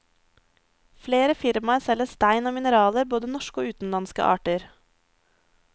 Flere firmaer selger stein og mineraler, både norske og utenlandske arter.